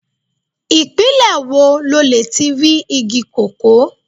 Ìpínlẹ̀ wo lo lè ti rí igi kókó.